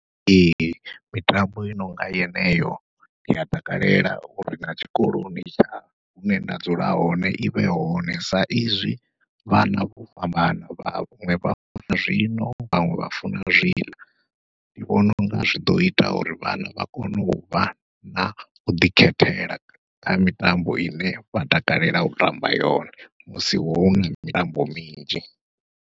Ee mitambo i nonga yeneyo ndi a takalela uri na tshikoloni tsha hune nda dzula hone ivhe hone, sa izwi vhana vho fhambana vhaṅwe vha zwino vha funa zwi ḽa. Ndi vhona unga zwi ḓo ita uri vhana vha kone uvha nau ḓikhethela, kha mitambo ine vha takalela u tamba yone musi huna mitambo minzhi.